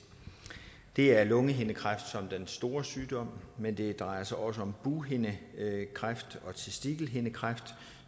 det er lungehindekræft som den store sygdom men det drejer sig også om bughindekræft og testikelhindekræft